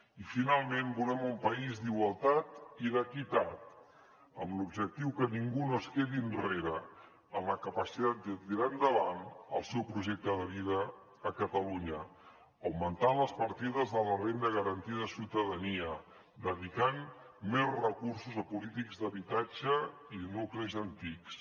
i finalment volem un país d’igualtat i d’equitat amb l’objectiu que ningú no es quedi enrere en la capacitat de tirar endavant el seu projecte de vida a catalunya augmentant les partides de la renda garantida de ciutadania dedicant més recursos a polítiques d’habitatge i de nuclis antics